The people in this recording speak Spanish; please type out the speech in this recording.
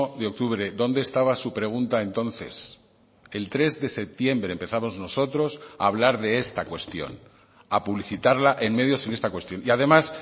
de octubre dónde estaba su pregunta entonces el tres de septiembre empezamos nosotros a hablar de esta cuestión a publicitarla en medios en esta cuestión y además